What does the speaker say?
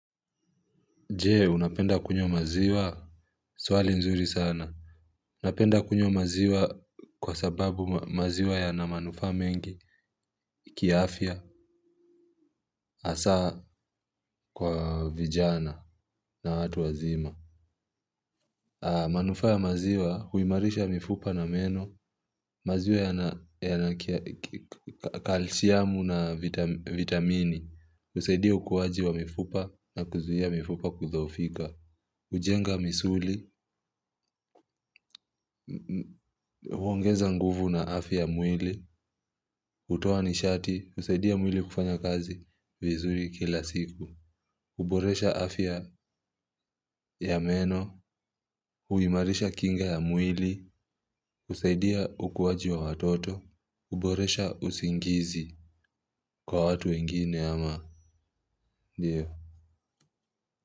Je, unapenda kunywa maziwa, swali nzuri sana. Napenda kunywa maziwa kwa sababu maziwa yana manufaa mengi, kiafya, hasa kwa vijana na watu wazima. Manufaa ya maziwa huimarisha mifupa na meno, maziwa yana calcium na vitamini, husaidia ukuwaji wa mifupa na kuzuia mifupa kudhoofika. Hujenga misuli, huongeza nguvu na afya ya mwili, hutoa nishati, husaidia mwili kufanya kazi vizuri kila siku. Huboresha afya ya meno, huimarisha kinga ya mwili, husaidia ukuwaji wa watoto, huboresha usingizi kwa watu wengine ama.